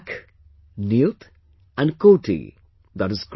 Lakh, Niyut and Koti i